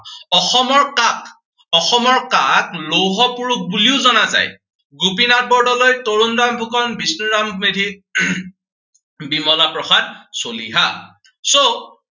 অসমৰ কাক, অসমৰ কাক লৌহ পুৰুষ বুলিও জনা যায়। গোপীনাথ বৰদলৈ, তৰুণৰাম ফুকন, বিষ্ণুৰাম মেধি বিমলা প্ৰসাদ চলিহা। so